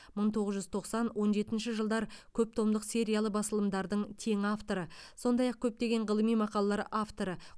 мың тоғыз жүз тоқсан он жетінші жылдар көптомдық сериялы басылымдардың тең авторы сондай ақ көптеген ғылыми мақалалар авторы